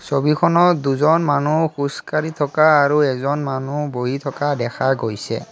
ছবিখনত দুজন মানুহ খোজকাঢ়ি থকা আৰু এজন মানুহ বহি থকা দেখা গৈছে।